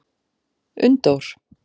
Unndór